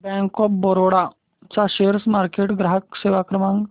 bank of Baroda चा share market ग्राहक सेवा क्रमांक